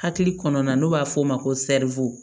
Hakili kɔnɔna na n'o b'a f'o ma ko sɛriwo